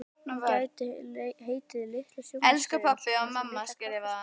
Hún gæti heitið Litla sjónvarpsstöðin, svona einsog Litla kaffistofan.